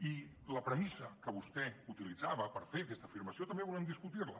i la premissa que vostè utilitzava per fer aquesta afirmació també volem discutir la